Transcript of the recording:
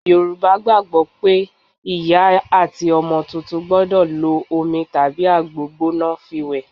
Yorùbá gbàgbó pé ìyá àti ọmọ tuntun gbọ́dọ̀ lo omi tàbí àgbo gbóná fi wẹ.